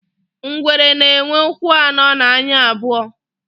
ngwere na enwe ụkwụ ano na anya abuo